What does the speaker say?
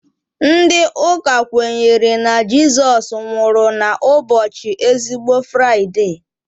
Ndị Ụka kwenyere na Jizọs nwụrụ na ụbọchị ezigbo Fraide